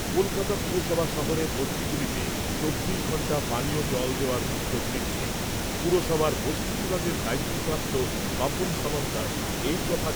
কলকাতা পুরসভা শহরের বস্তিগুলিতে চব্বিশ ঘণ্টা পানীয় জল দেওয়ার উদ্যোগ নিচ্ছে। পুরসভার বস্তি বিভাগের দায়িত্বপ্রাপ্ত স্বপন সমাদ্দার এই কথা